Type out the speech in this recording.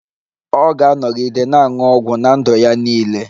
Ọ ga-anọgide na-aṅụ ọgwụ ná ndụ ya niile